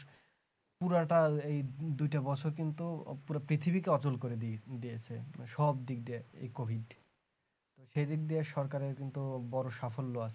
পুরাটা এই দুইটা বছর কিন্তু পুরো পৃথিবীকে অচল করে দিদিয়েছে সব দিক দিয়ে এই COVID সে দিক দিয়ে সরকারে কিন্তু বড় সাফল্য আছে